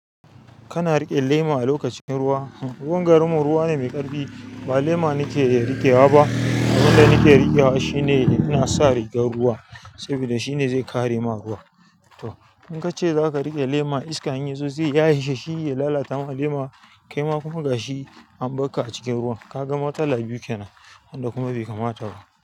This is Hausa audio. Kana riƙe lema a lokacin ruwa? Ruwan garin mu ruwa ne mai ƙarfi, ba lema nake riƙewa ba. Abin da nake riƙewa shine ina sa rigar ruwa saboda shine zai kare ma ruwa. To in ka ce za ka riƙe lema iska in yi zo ya yi sha, shi ya lalata ma lema. Kai ma kuma ga shi an ɓakka a cikin ruwa. Kagan matsala biyu kenan wanda kuma bai kamata ba.